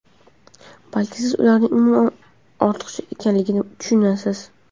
Balki siz ularning umuman ortiqcha ekanligini tushunarsiz.